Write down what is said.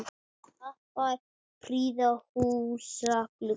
Kappar prýða húsa glugga.